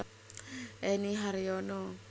Enny Haryono